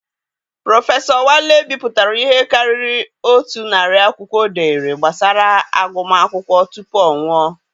Prọfesọ Wale bipụtara ihe karịrị otu narị akwụkwọ o dere gbasara agụm akwụkwọ tupu ọ nwụọ.